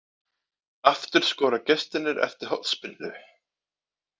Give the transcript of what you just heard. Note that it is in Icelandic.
Aftur skora gestirnir eftir hornspyrnu